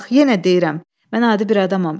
Bax yenə deyirəm, mən adi bir adamam.